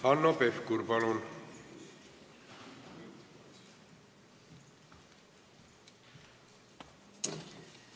Hanno Pevkur, palun!